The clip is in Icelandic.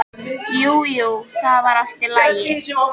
Jú, jú, það var allt í lagi.